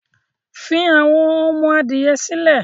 fI àwọn ọmọ-adìyẹ sílẹ̀!